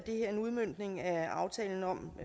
det her en udmøntning af aftalen om